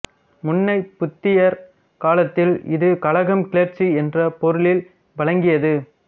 முன்னைப் புத்தியற் காலத்தில் இது கலகம் கிளர்ச்சி என்ற பொருளில் வழங்கியது